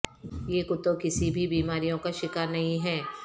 یہ کتوں کسی بھی بیماریوں کا شکار نہیں ہیں